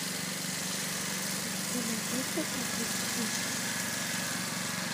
у тебя найдется так или иначе